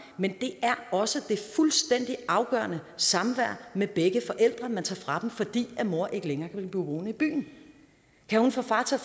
men også det fuldstændig afgørende samvær med begge forældre man tager fra dem fordi mor ikke længere kan blive boende i byen kan hun få far